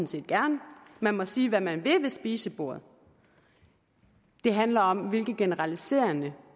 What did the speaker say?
set gerne man må sige hvad man vil ved spisebordet det handler om hvilke generaliserende